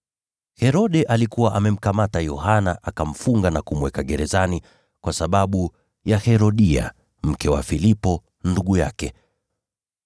Herode alikuwa amemkamata Yohana, akamfunga na kumweka gerezani kwa sababu ya Herodia, mke wa Filipo, ndugu yake,